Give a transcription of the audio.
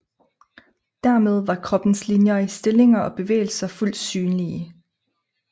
Dermed var kroppens linjer i stillinger og bevægelser fuldt synlige